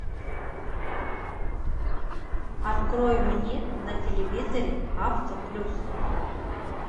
открой мне на телевизоре авто плюс